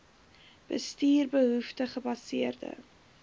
bestuur behoefte gebaseerde